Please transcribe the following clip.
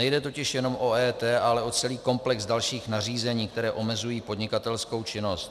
Nejde totiž jenom o EET, ale o celý komplex dalších nařízení, která omezují podnikatelskou činnost.